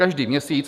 Každý měsíc.